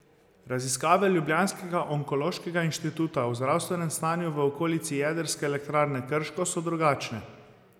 Raziskave ljubljanskega onkološkega inštituta o zdravstvenem stanju v okolici jedrske elektrarne Krško so drugačne.